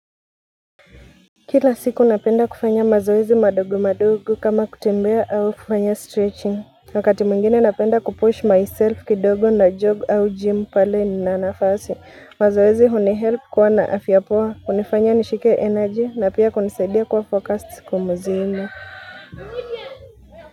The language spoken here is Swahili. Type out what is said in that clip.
Kila siku napenda kufanya mazoezi madogo madogo kama kutembea au kufanya stretching. Wakati mwingine napenda kupush myself kidogo na jog au gym pale ninanafasi. Mazoezi huni help kuwa na afya poa, hunifanya nishike energy na pia kunisaidia kuwa focused kumuzini.